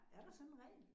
Er der sådan en regel?